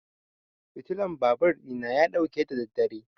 fitulan babur ɗina ya ɗauke da daddare.